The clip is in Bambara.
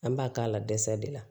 An b'a k'a la dɛsɛ de la